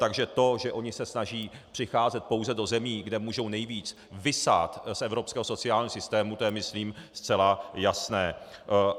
Takže to, že oni se snaží přicházet pouze do zemí, kde můžou nejvíc vysát z evropského sociálního systému, to je myslím zcela jasné.